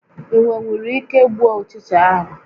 Ị nwenwuru ike gbuo ụchịcha ahụ?